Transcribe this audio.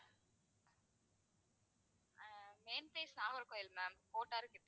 என் place Nagercoil ma'am கிட்ட.